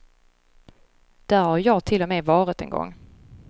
Där har jag ju till och med varit en gång.